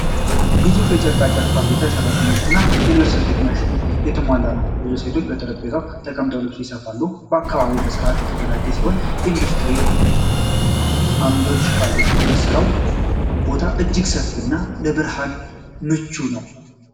ግዙፍ የጨርቃ ጨርቅ ፋብሪካ በሠራተኞች እና በልብስ ስፌት ማሽኖች የተሞላ ነው። ብዙ ሴቶች በጠረጴዛዎቻቸው ተቀምጠው ልብስ ይሰፋሉ። አካባቢው በስርዓት የተደራጀ ሲሆን የኢንዱስትሪ ዓምዶች አሉት። የሥራው ቦታ እጅግ ሰፊ እና ለብርሃን ምቹ ነው።